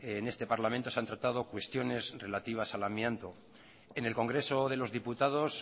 en este parlamento se han tratado cuestiones relativas al amianto en el congreso de los diputados